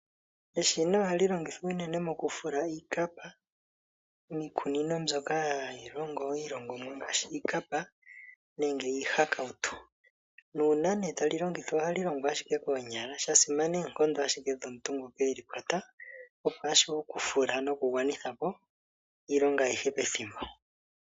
Eshina ohali longithwa unene moku fula iikapa miikunino mbyoka hayi longo iilongonwa ngaashi iikapa nenge iihakautu. Nuuna nduno tali longithwa ohali longo ike koonyala, sha simana oonkongo ashike dhomuntu ngoka eli kwata opo ashuwe oku fula noku gwanitha po iilonga ayihe pethimbo.